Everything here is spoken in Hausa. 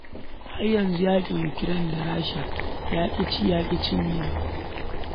Har yanzu yaƙin Ukraine da Rasha ya ƙi ci, ya ƙi cinyewa.